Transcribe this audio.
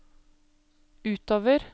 utover